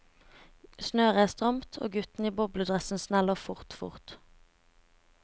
Snøret er stramt, og gutten i bobledressen sneller fort, fort.